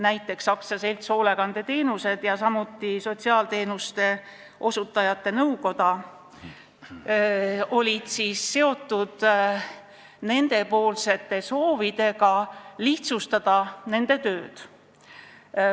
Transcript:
Näiteks olid AS Hoolekandeteenused ja Eesti Sotsiaalasutuste Juhtide Nõukoda esitanud soovid lihtsustada nende tööd.